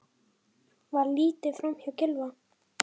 Var litið framhjá Gylfa?